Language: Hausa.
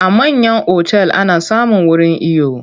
A manyan otal ana samun wurin iyo.